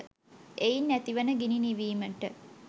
එයින් ඇතිවන ගිනි නිවීමට